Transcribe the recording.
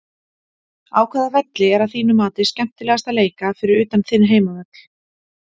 Á hvaða velli er að þínu mati skemmtilegast að leika fyrir utan þinn heimavöll?